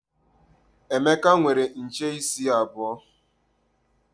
Emeka nwere nche isi abuo.